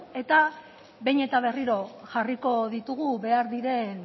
eta behin eta berriro jarriko ditugu behar diren